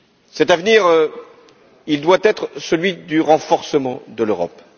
Cet avenir, il doit être celui du renforcement de l'Europe.